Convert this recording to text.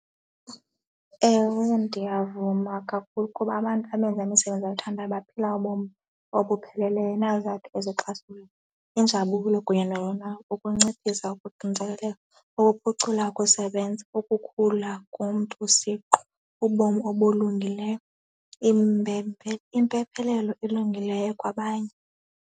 Ewe, ndiyavuma kakhulu kuba abantu abenza imisebenzi abayithandayo baphila ubomi obupheleleyo now that . Injabulo kunye ukunciphisa ukuxinzelelwa, ukuphucula ukusebenza, ukukhula komntu isiqu, ubomi obulungileyo impephephelelo elungileyo kwabanye.